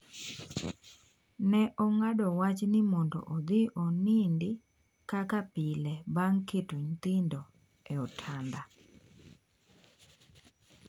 Ne ong'ado wach ni mondo odhi onindo kaka pile bang' keto nyithindo e otanda.